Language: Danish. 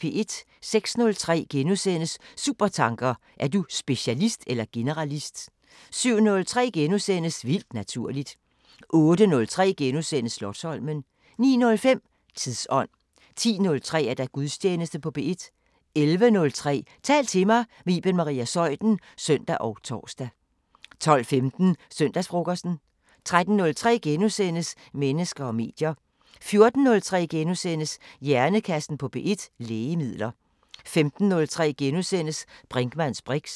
06:03: Supertanker: Er du specialist eller generalist? * 07:03: Vildt naturligt * 08:03: Slotsholmen * 09:05: Tidsånd 10:03: Gudstjeneste på P1 11:03: Tal til mig – med Iben Maria Zeuthen (søn og tor) 12:15: Søndagsfrokosten 13:03: Mennesker og medier * 14:03: Hjernekassen på P1: Lægemidler * 15:03: Brinkmanns briks *